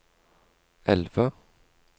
elve